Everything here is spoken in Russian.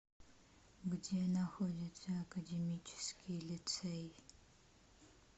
где находится академический лицей